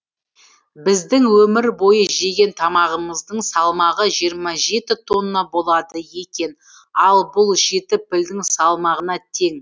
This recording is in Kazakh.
біздің өмір бойы жеген тамағымыздың салмағы жиырма жеті тонна болады екен ал бұл жеті пілдің салмағына тең